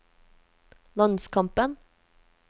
landskampen